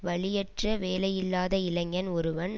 வழியற்ற வேலையில்லாத இளைஞன் ஒருவன்